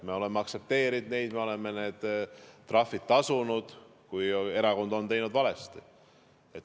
Me oleme aktsepteerinud neid, me oleme need trahvid tasunud, kui erakond on teinud valesti.